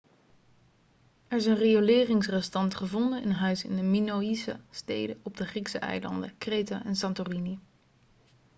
er zijn rioleringsrestanten gevonden in huizen in de minoïsche steden op de griekse eilanden kreta en santorini